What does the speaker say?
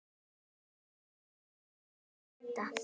Og var beðinn að mæta.